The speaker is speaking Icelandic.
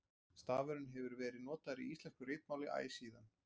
stafurinn hefur verið notaður í íslensku ritmáli æ síðan